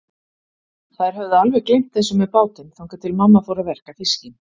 Þær höfðu alveg gleymt þessu með bátinn, þangað til mamma fór að verka fiskinn.